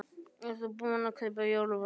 Erla: Ert þú búin að kaupa í jólamatinn?